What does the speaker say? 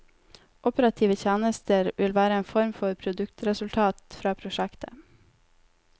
Operative tjenester vil være en form for produktresultat fra prosjektet.